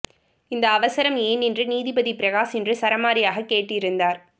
இந்த அவசரம் ஏன் என்று நீதிபதி பிரகாஷ் இன்று சரமாரியாக கேட்டிருந்தார்